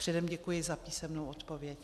Předem děkuji za písemnou odpověď.